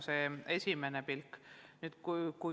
See on esmane kokkuvõte.